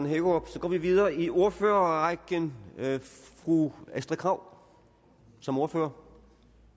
hækkerup så går vi videre i ordførerrækken fru astrid krag som ordfører